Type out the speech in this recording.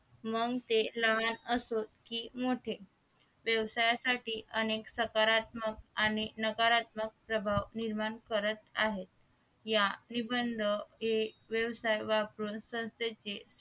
मग ते लहान असो की मोठे व्यवसायासाठी अनेक सकारात्मक आणि नकारात्मक प्रभाव निर्माण करत आहे या निबंध ये व्यवसाय वापरून संस्थेचे